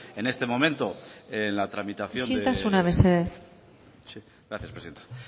en este momento en la tramitación isiltasuna mesedez gracias presidenta